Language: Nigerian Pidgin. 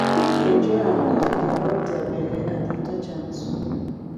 pig dey enjoy am if you dey rub their belle and dey touch am too